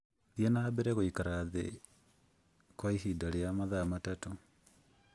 Thiĩ na mbere gũikara thĩ kwa ihinda rĩa mathaa matatũ.